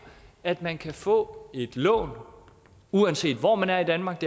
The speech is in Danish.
at man kan få et lån uanset hvor man er i danmark